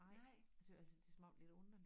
Nej tøs altså det smagte lidt underligt